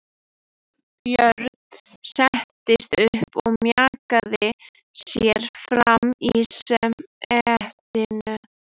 Björn settist upp og mjakaði sér fram í setinu.